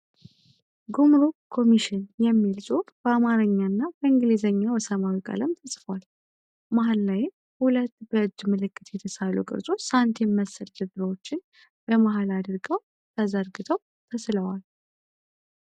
ጉምሩክ ኮሚሽን የሚል ጽሁፍ በአማረኛ እና በእንግሊዘኛ በሰማያዊ ቀለም ተጽፏል። መሃል ላይም ሁለት በእጅ ምልክት የተሳሉ ቅርጾች ሳንቲም መሰል ድርድሮችን በመሃል አድርገው ተዘርግተው ተስለዋል።